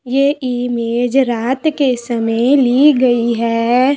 ये इमेज रात के समय ली गयी है।